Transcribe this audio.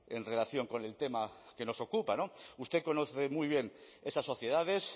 en relación con el tema que nos ocupa usted conoce muy bien esas sociedades